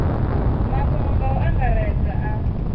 mafhungo nga u angaredza a